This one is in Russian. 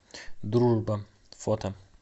дружба фото